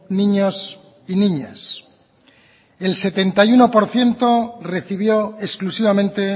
niños y niñas el setenta y uno por ciento recibió exclusivamente